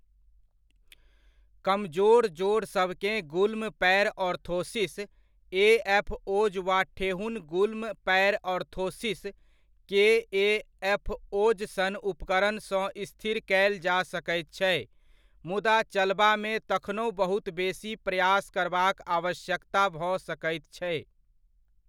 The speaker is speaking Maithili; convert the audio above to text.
कमजोर जोड़सभकेँ गुल्म पाएर ऑर्थोसिस, ए.एफ.ओज वा ठेहुन गुल्म पाएर ऑर्थोसिस, के.ए.एफ.ओज सन उपकरणसँ स्थिर कयल जा सकैत छै, मुदा चलबामे तखनहु बहुत बेसी प्रयास करबाक आवश्यकता भऽ सकैत छै।